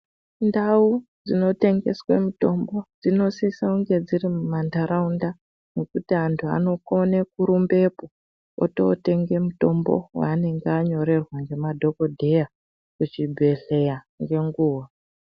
Ndau dzinotengeswe mutombo dzinosisange dziri mumanharaunda. Nekuti antu anokone kurumbepo ototenge mutombo vaanonga anyorerwa ngemadhogodheya kuchibhehleya ngenguva.